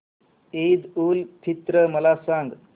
ईद उल फित्र मला सांग